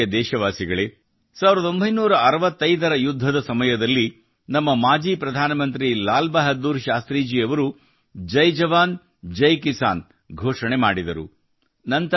ನನ್ನ ಪ್ರೀತಿಯ ದೇಶವಾಸಿಗಳೇ 1965 ರ ಯುದ್ಧದ ಸಮಯದಲ್ಲಿ ನಮ್ಮ ಮಾಜಿ ಪ್ರಧಾನಮಂತ್ರಿ ಲಾಲ್ ಬಹಾದೂರ್ ಶಾಸ್ತ್ರೀಯವರು ಜೈ ಜವಾನ್ ಜೈ ಕಿಸಾನ್ ನ ಘೋಷಣೆ ಮಾಡಿದರು